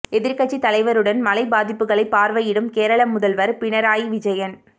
எதிர்க்கட்சித் தலைவருடன் மழை பாதிப்புகளைப் பார்வையிடும் கேரள முதல்வர் பினராயி விஜயன்